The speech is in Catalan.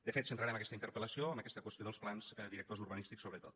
de fet centrarem aquesta interpel·lació en aquesta qüestió dels plans directors urbanístics sobretot